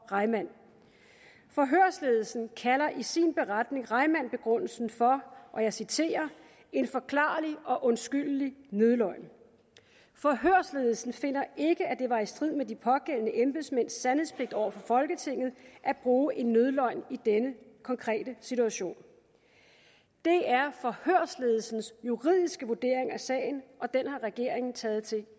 reimann forhørsledelsen kalder i sin beretning reimann begrundelsen for og jeg citerer en forklarlig og undskyldelig nødløgn forhørsledelsen finder ikke at det var i strid med de pågældende embedsmænds sandhedspligt over for folketinget at bruge en nødløgn i denne konkrete situation det er forhørsledelsens juridiske vurdering af sagen og den har regeringen taget til